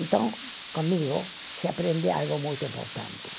Então, comigo se aprende algo muito importante.